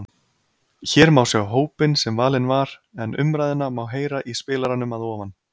Hér má sjá hópinn sem valinn var en umræðuna má heyra í spilaranum að ofan.